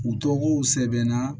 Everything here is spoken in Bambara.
U tɔgɔw sɛbɛn na